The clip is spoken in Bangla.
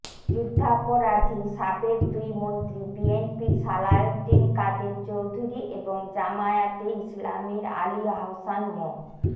যুদ্ধাপরাধী সাবেক দুই মন্ত্রী বিএনপির সালাউদ্দিন কাদের চৌধুরী এবং জামায়াতে ইসলামীর আলী আহসান মো